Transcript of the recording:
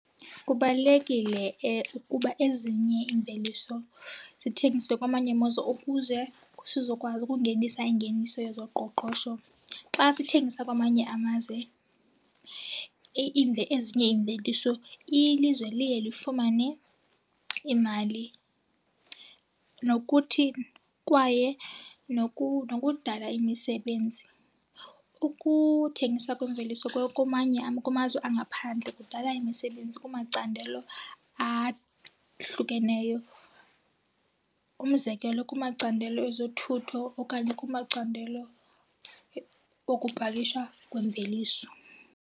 Kubalulekile ukuba ezinye iimveliso zithengiswe kwamanye amazwe ukuze sizokwazi ukungenisa ingeniso yezoqoqosho. Xa sithengisa kwamanye amazwe ezinye iimveliso ilizwe liye lifumane imali nokuthi kwaye nokudala imisebenzi. Ukuthengisa kwemveliso kumanye, kumazwe angaphandle kudala imisebenzi kumacandelo ahlukeneyo. Umzekelo kumacandelo ezothutho okanye kumacandelo okupakisha kwemveliso.